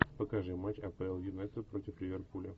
покажи матч апл юнайтед против ливерпуля